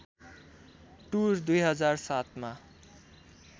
tour २००७ मा